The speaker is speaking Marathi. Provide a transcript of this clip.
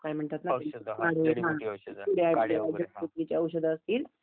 Audio is not clear